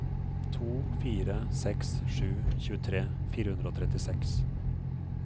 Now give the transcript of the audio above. to fire seks sju tjuetre fire hundre og trettiseks